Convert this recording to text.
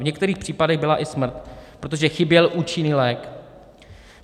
V některých případech byla i smrt, protože chyběl účinný lék.